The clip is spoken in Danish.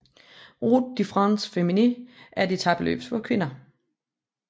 Route de France Féminine er et etapeløb for kvinder